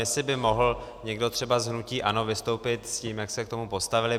Jestli by mohl někdo třeba z hnutí ANO vystoupit s tím, jak se k tomu postavili.